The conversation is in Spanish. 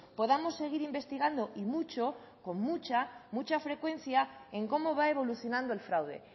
podamos seguir investigando y mucho con mucha mucha frecuencia en cómo va evolucionando el fraude